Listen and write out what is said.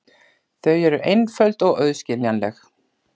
Þau eru einföld og auðskiljanleg.